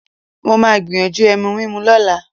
Mo máa gbìyànjú ẹ̀mù mímú lọ́la